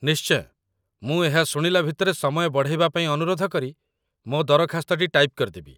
ନିଶ୍ଚୟ, ମୁଁ ଏହା ଶୁଣିଲା ଭିତରେ ସମୟ ବଢ଼େଇବା ପାଇଁ ଅନୁରୋଧ କରି ମୋ ଦରଖାସ୍ତଟି ଟାଇପ୍ କରିଦେବି।